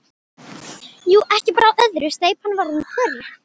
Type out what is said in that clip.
Jú, ekki bar á öðru, steypan var orðin þurr.